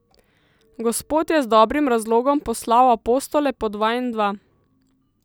Gospod je z dobrim razlogom poslal apostole po dva in dva.